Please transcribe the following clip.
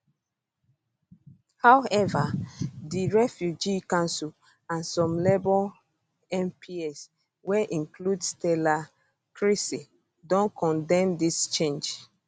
however di refugee council and some labour mps wey include stella creasy don condemn dis change